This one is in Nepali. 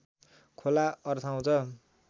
खोला अर्थाउँछ